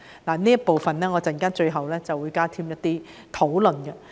我在發言的最後部分會加添一些討論。